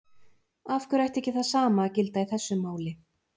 Af hverju ætti ekki það sama að gilda í þessu máli?